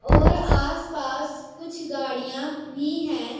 और आसपास कुछ गाड़ियां भी हैं।